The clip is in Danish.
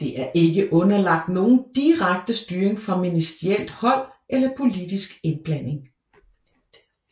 Det er ikke underlagt nogen direkte styring fra ministerielt hold eller politsk indblanding